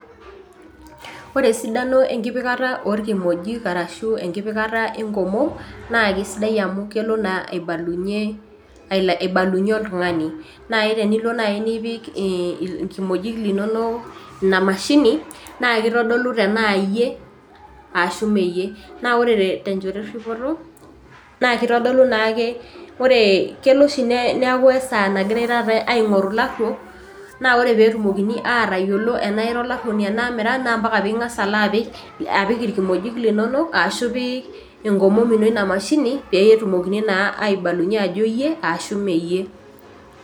Ore esidano enkipikata orkimojik arashu enkipikata enkomom naa kisidai amu kelo naa aibalunyie ael aibalunyie oltung'ani naaji tenelo naaji nipik irkimojik linonok ina mashini naa kitodolu tanaa iyie ashu mee iyie naa ore tenchoto erripoto naa kitodolu naake ore kelo oshi neaku esaa nagirae taata aing'oru ilarruok naa ore petumokini atayiolo enaa ira olarruoni tenaa mira naa mpaka ping'as alo apik irkimojik linonok ashu ipik enkomom ino ina mashini petumokini naa aibalunyie ajo iyie ashu mee iyie.